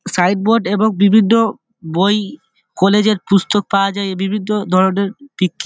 Side board এবং বিভিন্ন বই-ই কলেজ এ পুস্তক পাওয়া যায়। এই বিভিন্ন ধরণের --